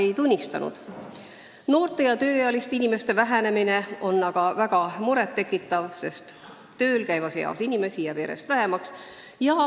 Samas tekitab muret noorte ja tööealiste inimeste arvu kahanemine, sest tööl käimise eas inimesi jääb järjest vähemaks.